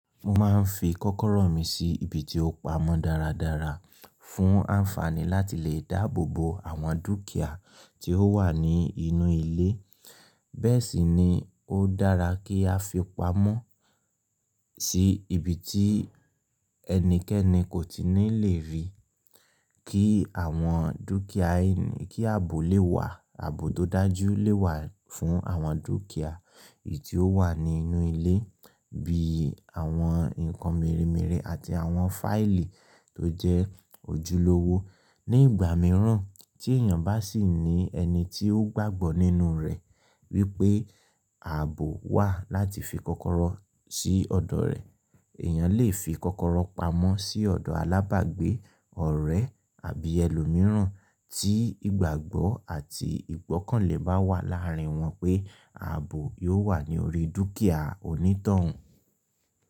Mo máa ń fi kọ́kọ́rọ́ mi sí ibi tí ó pamọ́ dáradára fún ànfàní láti lè dáàbò bo àwọn dúkìá tí ó wà ní inú ilé. Bẹ́ẹ̀ sì ni ó dára kí a fi pamọ́ sí ibi tí ẹnikẹ́ni kò tí ní lè rí. Kí àwọn dúkìá yìí, kí ààbò lè wà, ààbò tó dájú lè wà fún àwọn dúkìá èyí tí ó wà ní inú ilé bí i àwọn nǹkan mírìn mírìn àti àwọn fáìlì tó jẹ́ ojúlówó. Ni ìgbà mìíràn tí èèyàn bá sì ní ẹni tí ó gbàgbọ́ nínú rẹ̀ wípé ààbò wà láti fi kọ́kọ́rọ́ sí ọ̀dọ̀ rẹ̀, èèyàn lè fi kọ́kọ́rọ́ pamọ́ sí ọ̀dọ̀ alábàgbé, ọ̀rẹ́ àbí ẹlòmíràn tí ìgbàgbọ́ àti ìgbọ́kànlé bá wà láàárín wọn pé ààbò yóò wà ní orí dúkìá onítọ̀hún.